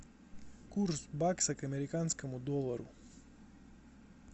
курс бакса к американскому доллару